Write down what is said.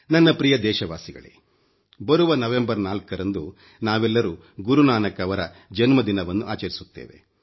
ನನ್ನ ಪ್ರಿಯ ದೇಶವಾಸಿಗಳೇ ಬರುವ ನವೆಂಬರ್ 4 ರಂದು ನಾವೆಲ್ಲರೂ ಗುರು ನಾನಕ್ ರ ಜನ್ಮದಿನವನ್ನು ಆಚರಿಸುತ್ತೇವೆ